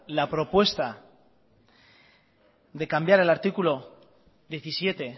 la propuesta de cambiar el artículo diecisiete